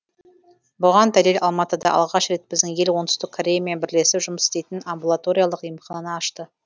бұған дәлел алматыда алғаш рет біздің ел оңтүстік кореямен бірлесіп жұмыс істейтін амбулаториялық емхананы ашты